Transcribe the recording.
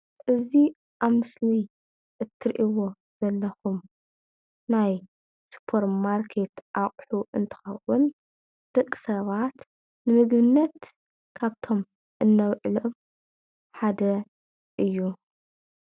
እዚ ኣብ ምስሊ እትሪእዎ ዘለኩም ናይ ስፖር ማርኬት ኣቅሑ እንትከውን ደቂ ሰባት ንምግብነት ካብቶም እነውዕሎም ሓደ እዩ፡፡